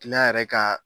yɛrɛ ka